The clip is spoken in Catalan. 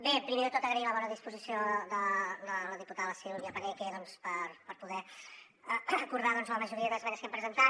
bé primer de tot agrair la bona disposició de la diputada la silvia paneque per poder acordar la majoria d’esmenes que hem presentat